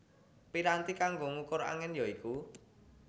Piranti kanggo ngukur angin ya iku